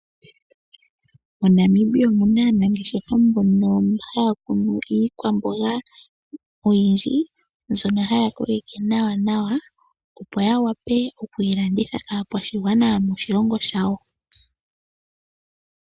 MoNamibia omu na aanageshefa mbono haya kunu iikwamboga oyindji mbyono haya koleke nawa opo ya wape okuyi landitha kaakwashigwana yomoshilongo shawo.